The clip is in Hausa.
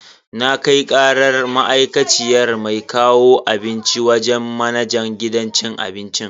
Na kai karar ma'aikaciyar mai kawo abinci wajen manajan gidan abincin.